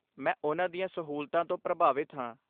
ਮੈਂ ਉਨ੍ਹਾਂ ਦੀਆਂ ਸਹੂਲਤਾਂ ਤੋਂ ਪ੍ਰਭਾਵਿਤ ਹਾਂ।